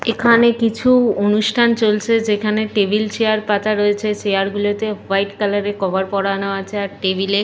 এখানে কিছু অনুষ্ঠান চলছে যেখানে টেবিল চেয়ার পাতা রয়েছে। চেয়ার গুলোতে ওয়াইট কালার এর কভার পরানো আছে আর টেবিল এ --